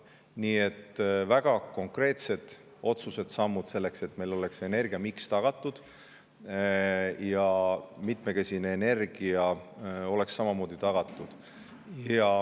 Nii et väga konkreetsed otsused ja sammud selleks, et meil oleks tagatud energiamiks ja mitmekesine energia.